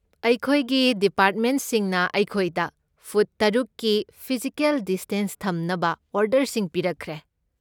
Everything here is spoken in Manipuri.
ꯑꯩꯈꯣꯏꯒꯤ ꯗꯤꯄꯥꯔꯠꯃꯦꯟꯠꯁꯤꯡꯅ ꯑꯩꯈꯣꯏꯗ ꯐꯨꯠ ꯇꯔꯨꯛꯀꯤ ꯐꯤꯖꯤꯀꯦꯜ ꯗꯤꯁꯇꯦꯟꯁ ꯊꯝꯅꯕ ꯑꯣꯔꯗꯔꯁꯤꯡ ꯄꯤꯔꯛꯈ꯭ꯔꯦ꯫